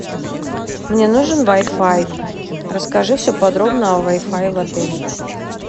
мне нужен вай фай расскажи все подробно о вай фае в отеле